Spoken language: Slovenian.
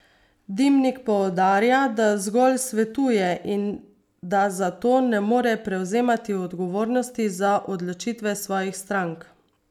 Dimnik poudarja, da zgolj svetuje in da zato ne more prevzemati odgovornosti za odločitve svojih strank.